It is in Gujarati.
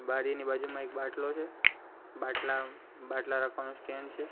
બારીની બાજુમાં એક બાટલો છે બાટલા બાટલા રાખવાનું સ્ટેન્ડ છે.